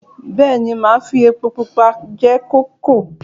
Bẹ́ẹ̀ ni, màá fi epo pupa jẹ kókò